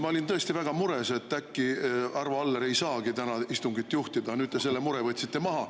Ma olin tõesti väga mures, et äkki Arvo Aller ei saagi täna istungit juhatada, te selle mure võtsite maha.